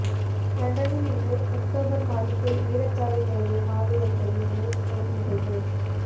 லண்டனில் இன்று ஒக்டோபர் மாதத்தில் வீரச்சாவை தழுவிய மாவீரர்களை நினைவுகூரும் நிகழ்வு